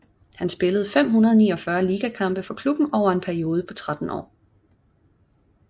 Han spillede 549 ligakampe for klubben over en periode på 13 år